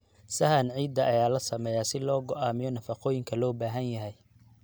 Sahan ciidda ayaa la sameeyaa si loo go'aamiyo nafaqooyinka loo baahan yahay.